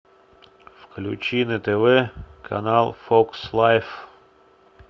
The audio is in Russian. включи на тв канал фокс лайф